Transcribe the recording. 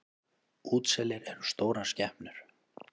Útselir eru stórar skepnur.